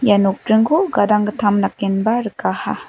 ia nokdringko gadanggittam dakenba rikaha.